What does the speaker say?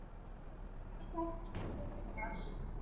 Ég á þessi stígvél.